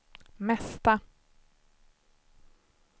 mesta